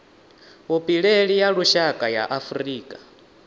vhupileli ya lushaka ya afurika